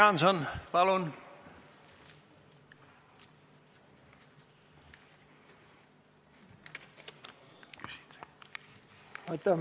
Jüri Jaanson, palun!